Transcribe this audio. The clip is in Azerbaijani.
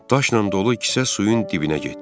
Daşla dolu kisə suyun dibinə getdi.